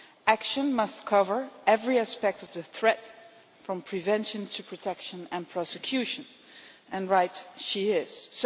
Action must cover every aspect of the threat, from prevention to protection and prosecution', and she is right.